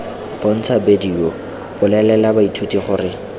bontsha bedio bolelela baithuti gore